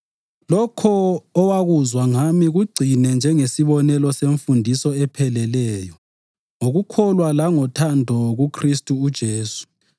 Lokho owakuzwa ngami kugcine njengesibonelo semfundiso epheleleyo, ngokukholwa langothando kuKhristu uJesu.